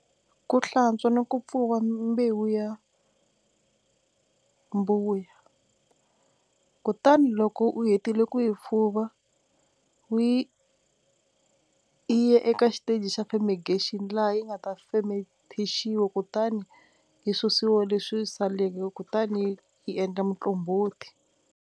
Ku hlantswa ni ku pfuva mbewu ya mbuya kutani loko u hetile ku yi pfuva u yi yi ya eka xiteji xa fermegation laha yi nga ta femethixiwa kutani yi susiwa leswi saleke kutani yi endla muqombhoti.